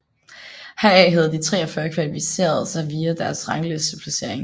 Heraf havde de 43 kvalificeret sig via deres ranglisteplacering